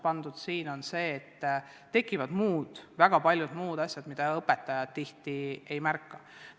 Põhjus on selles, et tekivad väga paljud muud asjad, mida õpetajad tihti ei märka.